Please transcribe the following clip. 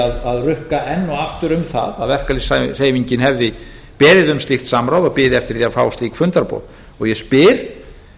að rukka enn og aftur um það verkalýðshreyfingin hefði beðið um slíkt samráð og biði eftir því að fá slík fundarboð og ég spyr